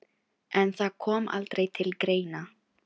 En það kom aldrei til greina.